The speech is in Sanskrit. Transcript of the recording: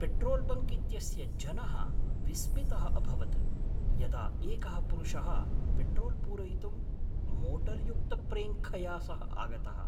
पेट्रोल्बङ्क् इत्यस्य जनः विस्मितः अभवत् यदा एकः पुरुषः पेट्रोल्पूरयितुं मोटर्युक्तप्रेङ्खया सह आगतः।